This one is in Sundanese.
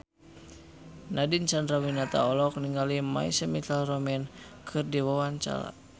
Nadine Chandrawinata olohok ningali My Chemical Romance keur diwawancara